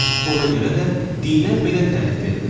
Ona görə də dinə belə tərif verilir: